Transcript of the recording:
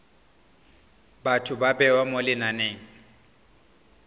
batho ba bewa mo lenaneng